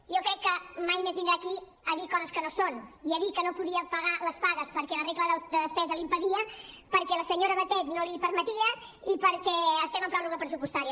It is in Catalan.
jo crec que mai més vindrà aquí a dir coses que no són i a dir que no podia pagar les pagues perquè la regla de despesa l’hi impedia perquè la senyora batet no l’hi permetia i perquè estem en pròrroga pressupostària